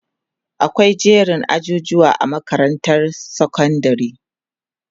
akwai jerin ajujuwa a makarantar sekondari